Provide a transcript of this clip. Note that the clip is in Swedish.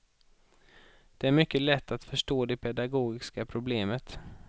Det är mycket lätt att förstå det pedagogiska problemet.